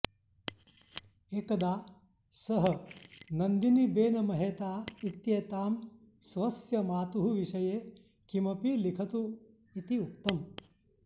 एकदा सः नन्दिनीबेन महेता इत्येतां स्वस्य मातुः विषये किमपि लिखतु इति उक्तम्